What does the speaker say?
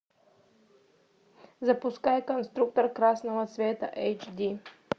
запускай конструктор красного цвета эйч ди